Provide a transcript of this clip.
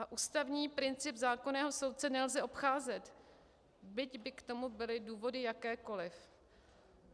A ústavní princip zákonného soudce nelze obcházet, byť by k tomu byly důvody jakékoliv.